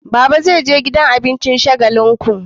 Baba zai je gidan abincin shagalinku